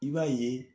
I b'a ye